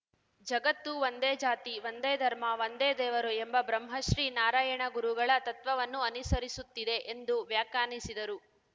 ಜಗತ್ತು ಒಂದೇ ಜಾತಿ ಒಂದೇ ಧರ್ಮ ಒಂದೇ ದೇವರು ಎಂಬ ಬ್ರಹ್ಮಶ್ರೀ ನಾರಾಯಣ ಗುರುಗಳ ತತ್ವವನ್ನು ಅನುಸರಿಸುತ್ತಿದೆ ಎಂದು ವ್ಯಾಖ್ಯಾನಿಸಿದರು